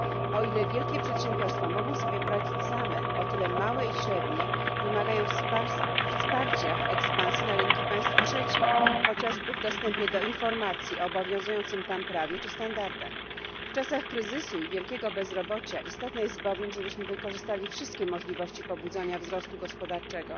O ile wielkie przedsiębiorstwa mogą sobie poradzić same, o tyle małe i średnie wymagają wsparcia w ekspansji na rynki państw trzecich, chociażby w dostępie do informacji o obowiązującym tam prawie czy standardach. W czasach kryzysu i wielkiego bezrobocia istotne jest bowiem, żebyśmy wykorzystali wszystkie możliwości pobudzania wzrostu gospodarczego,